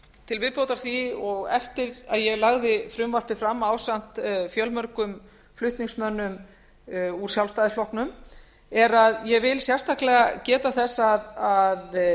til viðbótar því og eftir að ég lagði frumvarpið fram ásamt fjölmörgum flutningsmönnum úr sjálfstæðisflokknum er að ég vil sérstaklega geta þess að